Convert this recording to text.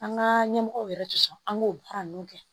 An ka ɲɛmɔgɔw yɛrɛ tɛ sɔn an k'o baara ninnu kɛ